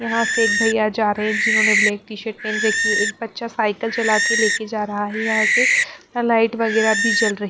यहाँ से एक भैया जा रहे हैं जिन्होंने ब्लैक टी -शर्ट पहन रखी है एक बच्चा साइकिल चला के लेके जा रहा है यहाँ से लाइट वगैरह भी जल रही--